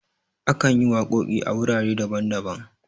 akan yi waƙoƙi a wurare daban-daban